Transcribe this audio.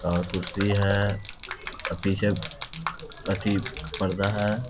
और कुर्सी है और पीछे अथी पर्दा है।